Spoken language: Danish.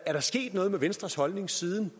er der sket noget med venstres holdning siden